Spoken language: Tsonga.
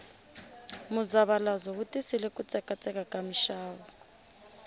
muzavalazo wu tisile ku tsekatseka ka mixavo